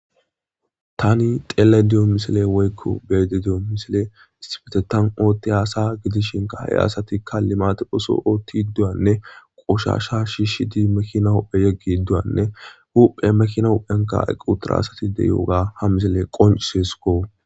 tani xeele diyo misile woykko beede diyo misile isibetetan ootti haasa gidishinka he asatikka limate hoso ootti dduyanne qoshasha shiishi di mekina hupphe yeggi idduyanne huphe mekina huphenka eqqu tara asati deyooga ha misile qoncisesuko